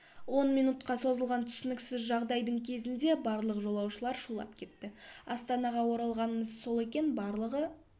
он минутқа созылған түсініксіз жағдайдың кезінде барлық жолаушылар шулап кетті астанаға оралғанымыз сол екен барлығы